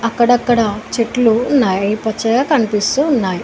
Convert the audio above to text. అక్కడక్కడ చెట్లూ ఉన్నాయ్ అవి పచ్చగా కనిపిస్తూ ఉన్నాయ్.